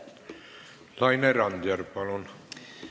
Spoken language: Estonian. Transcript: Laine Randjärv, palun!